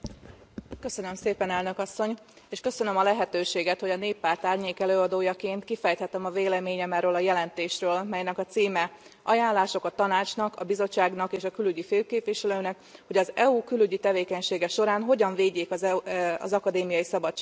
Köszönöm szépen, Elnök Asszony, és köszönöm a lehetőséget, hogy a Néppárt árnyékelőadójaként kifejthettem a véleményem erről a jelentésről, melynek a címe Ajánlások a Tanácsnak, a Bizottságnak és a külügyi főképviselőnek, hogy az EU külügyi tevékenysége során hogyan védjék az akadémiai szabadságot.